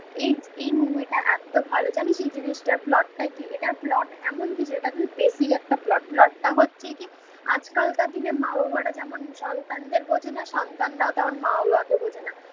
এই এই মুভিটা এত ভালো জানিস এই জিনিসটার প্লট টা কি এটার প্লট এমন কিছু, এটা কিন্তু বেসিক একটা প্লট. প্লটটা হচ্ছে কি. আজকালকার দিনে মা বাবারা যেমন সন্তানদের বোঝে না, সন্তানরাও তেমন মা বাবাকে বোঝে না